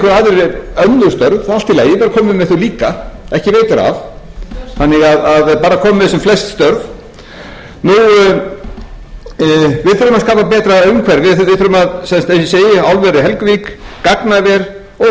með þau líka ekki veitir af þannig að bara að komið með sem flest störf við þurfum að skapa betra umhverfi við þurfum eins og ég segi álver við helguvík gagnaver og